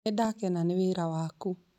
Nĩ ndakena nĩ wĩra waku